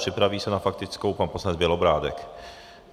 Připraví se na faktickou pan poslanec Bělobrádek.